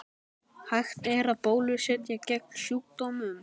Hægt er að bólusetja gegn sjúkdómnum.